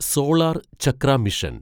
solar Chakra mission